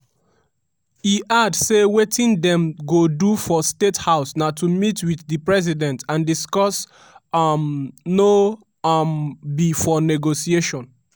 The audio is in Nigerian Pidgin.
e add say wetin dem go do for state house na to meet wit di president and discuss um no um be for negotiation.